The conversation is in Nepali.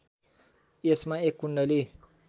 यसमा एक कुण्डली